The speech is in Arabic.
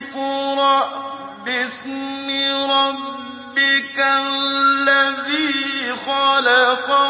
اقْرَأْ بِاسْمِ رَبِّكَ الَّذِي خَلَقَ